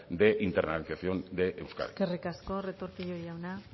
de internalización de euskadi eskerrik asko retortillo jauna